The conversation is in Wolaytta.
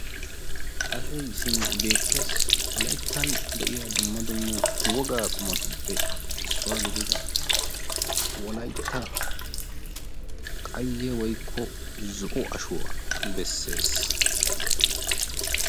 Ashoyi simi beettes, wolayttan de'yaa dumma dumma woggaa qumattuppe issuwaa gididda wolaytta qayye woykko zo'o ashuwaa besses.